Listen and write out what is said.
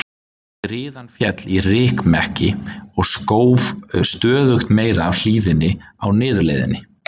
Skriðan féll í rykmekki og skóf stöðugt meira af hlíðinni á niðurleiðinni.